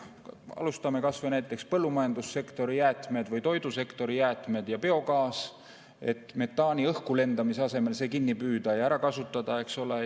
Alustame kas või põllumajandussektori jäätmetest või toidusektori jäätmetest ja biogaasist, et metaani õhku lendamise asemel see kinni püüda ja ära kasutada, eks ole.